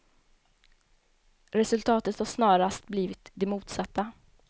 Resultatet har snarast blivit det motsatta.